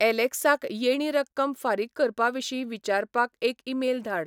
ऍलॅक्साक येणी रक्कम फारीक करपाविशीं विचारपाक एक ईमेल धाड